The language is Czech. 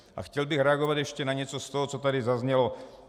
A chtěl bych reagovat ještě na něco z toho, co tady zaznělo.